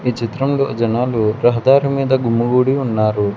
ఈ చిత్రంలో జనాలు రహదారి మీద గుమ్మి గూడి ఉన్నారు.